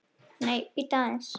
Nei, bíddu aðeins!